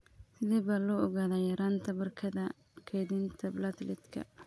Sidee baa loo ogaadaa yaraanta barkada kaydinta plateletka?